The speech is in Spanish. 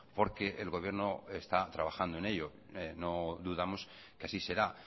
porque el gobierno está trabajando en ello no dudamos que así será